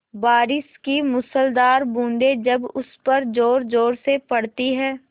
बारिश की मूसलाधार बूँदें जब उस पर ज़ोरज़ोर से पड़ती हैं